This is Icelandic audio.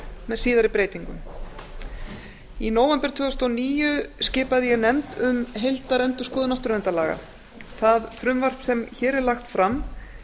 með síðari breytingum í nóvember tvö þúsund og níu skipaði ég nefnd um endurskoðun náttúruverndarlaga það frumvarp sem hér er lagt fram